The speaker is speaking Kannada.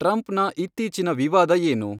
ಟ್ರಂಪ್ನ ಇತ್ತೀಚಿನ ವಿವಾದ ಏನು